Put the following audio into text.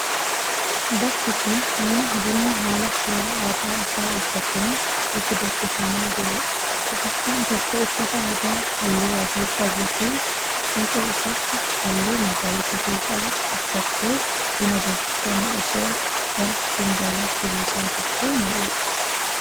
Bakki kun, mana bunni haala seera aadaa isaa eeggateen itti danfifamaa jiruu dha. Dubartiin tokko uffata aadaa haalluu adii qabuu fi fiixee isaatti haalluu magariisa ta'e qabu uffattee buna danfifame osoo gara finjaalatti buusaa jirtuu mul'atti.